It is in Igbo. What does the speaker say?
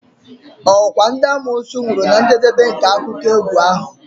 Okwa ndị amoosu nwụrụ na njedebe nke akụkọ egwu ahụ?